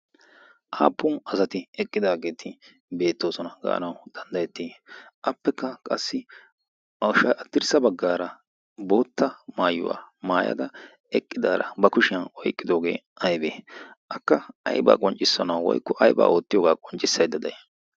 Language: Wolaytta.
appun asati eqqidaageti beetosona gaanawu dandayetii? apekka qassi hadirsa bagaara eqidaara ba kushiyan oyqidoogee aybee? akka ayba qonccisanawu woykko aybaa qonccisayda day?